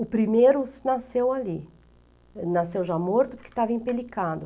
O primeiro nasceu ali, nasceu já morto porque estava empelicado.